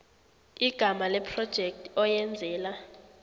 igama lephrojekthi oyenzela